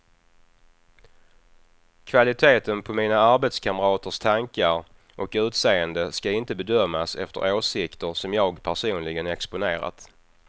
Kvaliteten på mina arbetskamraters tankar och utseende ska inte bedömas efter åsikter som jag personligen exponerat.